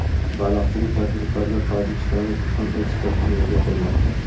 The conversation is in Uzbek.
Baliqchilik tadbirkorlar Tojikistonga tuxum eksportini yo‘lga qo‘ymoqda.